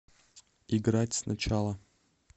играть сначала